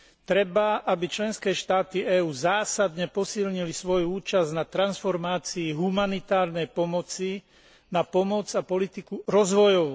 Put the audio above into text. Treba, aby členské štáty EÚ zásadne posilnili svoju účasť na transformácii humanitárnej pomoci na pomoc a politiku rozvojovú.